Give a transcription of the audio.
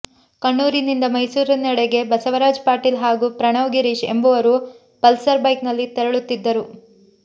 ಕಣ್ಣೂರಿನಿಂದ ಮೈಸೂರಿನೆಡೆಗೆ ಬಸವರಾಜ್ ಪಾಟೀಲ್ ಹಾಗೂ ಪ್ರಣವ್ ಗಿರೀಶ್ ಎಂಬವರು ಪಲ್ಸರ್ ಬೈಕ್ನಲ್ಲಿ ತೆರಳುತ್ತಿದ್ದರು